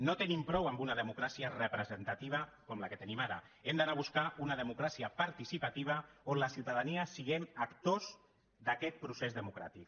no tenim prou amb una democràcia representativa com la que tenim ara hem d’anar a buscar una democràcia participativa on la ciutadania siguem actors d’aquest procés democràtic